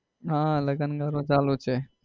આહ લગન ગાળો જ છે.